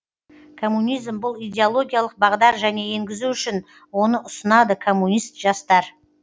коммунизм бұл идеологиялық бағдар және енгізу үшін оны ұсынады комунист жастар